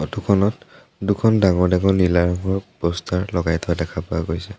Photo খনত দুখন ডাঙৰ ডাঙৰ নীলা ৰঙৰ পষ্টাৰ লগাই থোৱা দেখা পোৱা গৈছে।